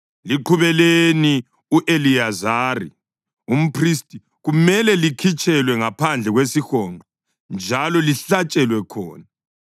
Liqhubeleni u-Eliyazari umphristi; kumele likhitshelwe ngaphandle kwesihonqo njalo lihlatshelwe khona.